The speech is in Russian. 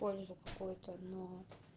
пользу какую-то но